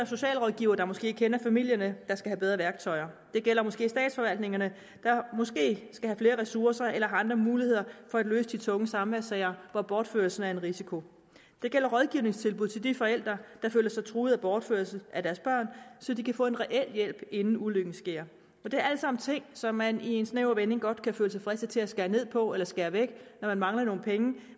socialrådgivere der måske kender familierne de have bedre værktøjer det gælder statsforvaltningerne der måske skal have flere ressourcer eller andre muligheder for at løse de tunge samværssager hvor bortførelse er en risiko det gælder rådgivningstilbud til de forældre der føler sig truet af bortførelse af deres børn så de kan få en reel hjælp inden ulykken sker det er alt sammen ting som man i en snæver vending godt kan føle sig fristet til at skære ned på eller skære væk når der mangler nogle penge